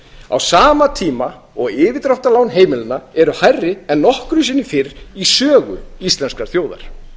á sama tíma og yfirdráttarlán heimilanna eru hærri en nokkru sinni fyrr í sögu íslenskrar þjóðar